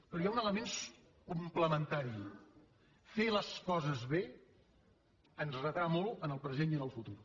però hi ha un element complementari fer les coses bé ens retrà molt en el present i en el futur